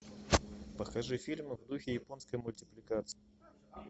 покажи фильмы в духе японской мультипликации